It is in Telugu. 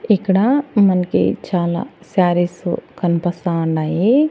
ఇక్కడ మన్కి చాలా శారీస్ కన్పస్తా ఉన్నాయి.